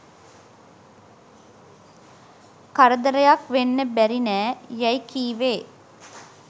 කරදරයක් වෙන්න බැරි නෑ’’ යයි කීවේ